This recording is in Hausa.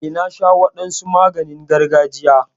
Eh, na sha wadansu maganin gargajiya.